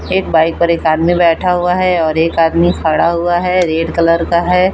एक बाइक पर एक आदमी बैठा हुआ है और एक आदमी खड़ा हुआ है रेड कलर का है।